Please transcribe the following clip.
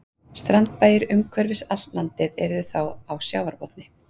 Strandbæir umhverfis allt landið yrðu þá á sjávarbotni.